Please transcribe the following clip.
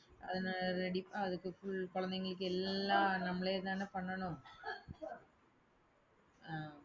அதனால ready அதுக்கு full குழந்தைகளுக்கு எல்லாம் நம்மளேதானே பண்ணணும். ஹம்